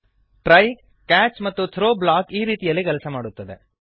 try catch ಮತ್ತು throw block ಈ ರೀತಿಯಲ್ಲಿ ಕೆಲಸ ಮಾಡುತ್ತದೆ